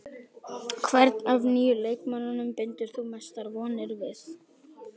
Hvern af nýju leikmönnunum bindur þú mestar vonir við?